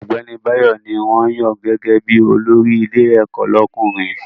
Ọ̀gbẹ́ni Báyọ̀ ní wọ́n yàn gẹ́gẹ́ bí olórí ilé ẹ̀kọ́ lọ́kùnrin